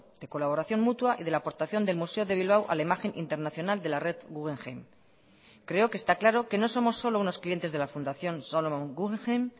de colaboración mutua y de la aportación del museo de bilbao a la imagen internacional de la red guggenheim creo que está claro que no somos solo unos clientes de la fundación solomon guggenheim